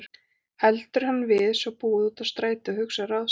Heldur hann við svo búið út á strætið og hugsar ráð sitt.